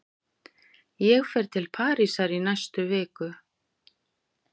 Ég fer til Parísar í næstu viku.